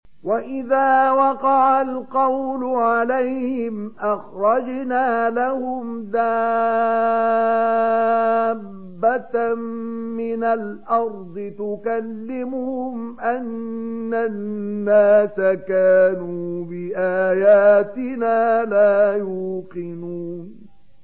۞ وَإِذَا وَقَعَ الْقَوْلُ عَلَيْهِمْ أَخْرَجْنَا لَهُمْ دَابَّةً مِّنَ الْأَرْضِ تُكَلِّمُهُمْ أَنَّ النَّاسَ كَانُوا بِآيَاتِنَا لَا يُوقِنُونَ